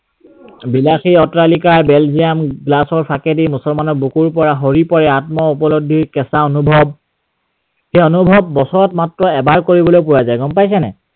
বিলাসী অট্ৰালিকাৰ Belgium glass ৰ ফাঁকেদি মুছলমানৰ বুকুৰ পৰা সৰি পৰে, আত্ম উপলব্ধিৰ কেঁচা অনুভৱ। সেই অনুভৱ বছৰত মাত্ৰ এবাৰ কৰিবলৈ পোৱা যায় গম পাইছা নাই?